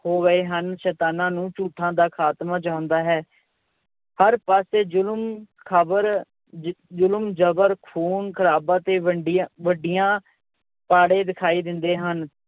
ਹੋ ਗਏ ਹਨ, ਸੈਤਾਨਾਂ ਨੂੰ ਝੂਠਾਂ ਦਾ ਖਾਤਮਾ ਚਾਹੁੰਦਾ ਹੈ, ਹਰ ਪਾਸੇ ਜੁਲਮ ਖ਼ਬਰ ਜ~ ਜ਼ੁਲਮ-ਜ਼ਬਰ, ਖੂਨ-ਖ਼ਰਾਬਾ ਤੇ ਵੰਡੀਆਂ ਵੱਡੀਆਂ ਪਾੜੇ ਦਿਖਾਈ ਦਿੰਦੇ ਹਨ।